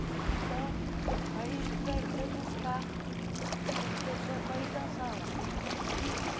Então, aí vem vem buscar as pessoas para ir dançar lá. e